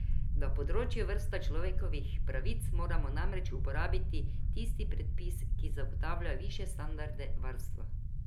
Na področju varstva človekovih pravic moramo namreč uporabiti tisti predpis, ki zagotavlja višje standarde varstva.